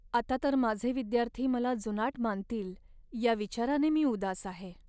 आता तर माझे विद्यार्थी मला जुनाट मानतील या विचाराने मी उदास आहे.